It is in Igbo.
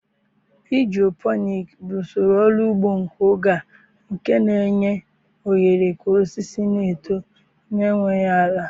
Hidroponik bụ usoro ọrụ ugbo nke oge a nke na-enye ohere ka osisi na-eto n'enweghị ala.